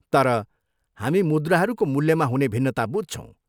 तर, हामी मुद्राहरूको मूल्यमा हुने भिन्नता बुझ्छौँ।